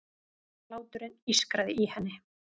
Hláturinn ískraði í henni.